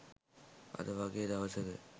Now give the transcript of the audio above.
අද වගේ දවසක